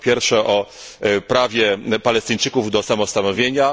Po pierwsze, o prawie Palestyńczyków do samostanowienia.